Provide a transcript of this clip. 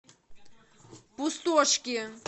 пустошки